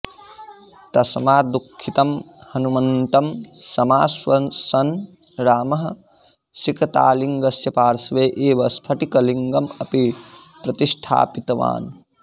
तस्मात् दुःखितं हनुमन्तं समाश्वसन् रामः सिकतालिङ्गस्य पार्श्वे एव स्फटिकलिङ्गम् अपि प्रतिष्ठापितवान्